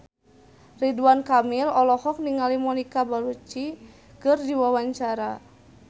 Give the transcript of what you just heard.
Ridwan Kamil olohok ningali Monica Belluci keur diwawancara